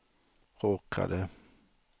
råkade